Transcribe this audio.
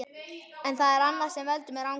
En það er annað sem veldur mér angri.